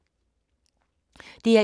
DR1